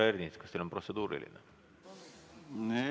Härra Ernits, kas teil on protseduuriline küsimus?